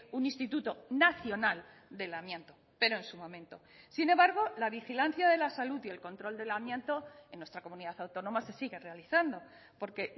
un instituto nacional del amianto pero en su momento sin embargo la vigilancia de la salud y el control del amianto en nuestra comunidad autónoma se sigue realizando porque